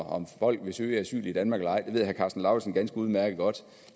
om folk vil søge asyl i danmark eller ej det ved herre karsten lauritzen ganske udmærket godt